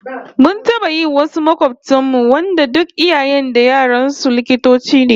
Mun taba yi wasu makobtan mu wanda duk iyayen da yaran su likitoci ne